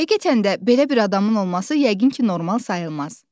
Həqiqətən də belə bir adamın olması yəqin ki, normal sayılmaz.